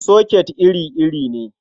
Soket iri-iri ne.